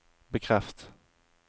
bekreft